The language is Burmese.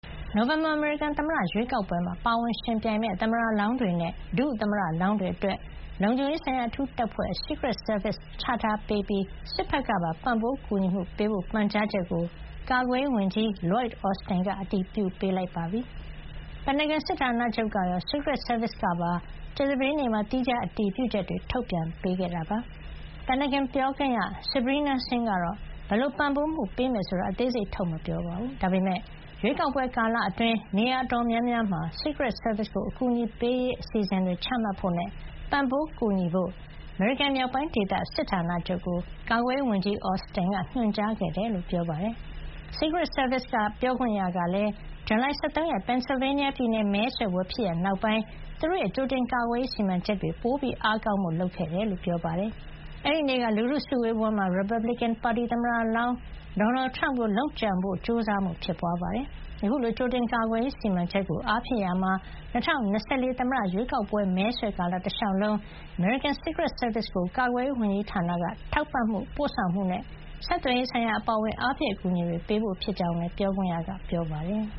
နိုဝင်ဘာ အမေရိကန် သမ္မတရွေးကောက်ပွဲမှာ ပါဝင်ယှဉ်ပြိုင်မယ့် သမ္မတလောင်းတွေနဲ့ ဒုသမ္မတလောင်းတွေ အတွက် လုံခြုံရေးဆိုင်ရာ အထူးတပ်ဖွဲ့ Secret Service ချထားပေးပြီး စစ်ဘက်ကပါ ပံ့ပိုးကူညီမှုပေးဖို့ ပန်ကြားချက်ကို ကာကွယ်ရေးဝန်ကြီး Lloyd Austin ကအတည်ပြုပေးခဲ့ပါတယ်။ ပင်တာဂွန်စစ်ဌာနချုပ်ကရော Secret Service ကပါ ကြာသပတေးနေ့မှာ သီးခြား အတည်ပြုချက်တွေ ထုတ်ပြန်ပေးခဲ့တာပါ။ ပင်တာဂွန်ပြောခွင့်ရ Sabrina Singh ကတော့ ဘယ်လို ပံ့ပိုးမှုပေးမယ်ဆိုတာကို အသေးစိတ်ထုတ်မပြောပါဘူး။ ဒါပေမယ့် ရွေးကောက်ပွဲ ကာလအတွင်း နေရာ အတော်များများမှာ Secret Service ကို အကူညီပေးရေး အစီစဉ်တွေချမှတ်ဖို့နဲ့ ပံ့ပိုးကူညီဖို့ အမေရိကန် မြောက်ပိုင်းဒေသ စစ်ဌာနချုပ်ကို ကာကွယ်ရေးဝန်ကြီး Austin က ညွှန်ကြားခဲ့တယ်လို့ ပြောပါတယ်။ Secret Service ပြောခွင့်ရကလည်း ဇူလိုင်လ ၁၃ ရက် Pennsylvania ပြည်နယ် မဲဆွယ်ပွဲ ဖြစ်ရပ် နောက်ပိုင်းမှာ သူတို့ရဲ့ ကြိုတင်ကာကွယ်ရေး စီမံချက်တွေကို ပိုအားကောင်းဖို့ လုပ်ဆောင်ခဲ့ တယ်လို့ ပြောပါတယ်။ အဲဒီနေ့က လူထုစုဝေးပွဲမှာ ရီပတ်ဘလစ်ကင်ပါတီက သမ္မတလောင်း ဒေါ်နယ်ထရမ့်ကိုလုပ်ကြံဖို့ ကြိုးစားမှု ဖြစ်ပွါးခဲ့တာပါ။ အခုလို ကြိုတင်ကာကွယ်ရေး စီမံချက်ကို အားဖြည့်ရာမှာ ၂၀၂၄ သမ္မတရွေးကောက်ပွဲ မဲဆွယ်ကာလ တလျှောက်လုံး အမေရိကန် Secret Service ကို ကာကွယ်ရေး ဝန်ကြီးဌာနက ထောက်ပံ့မှု၊ ပို့ဆောင်မှုနဲ့ ဆက်သွယ်ရေး ဆိုင်ရာ အပါအဝင်အားဖြည့် အကူအညီတွေပေးဖို့ ဖြစ်ကြောင်းလည်း ပြောခွင့်ရက ပြောပါတယ်။